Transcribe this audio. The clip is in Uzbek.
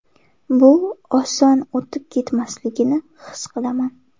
Bu oson o‘tib ketmasligini his qilaman.